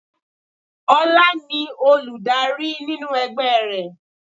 Ola ni Olùdarí nínú ẹgbẹ́ rẹ̀